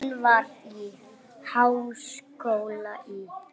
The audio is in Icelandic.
Hún var í háskóla í